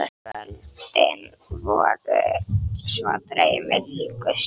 Kvöldin voru svo draumi líkust.